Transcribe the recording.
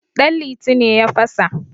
danliti ne ya fasa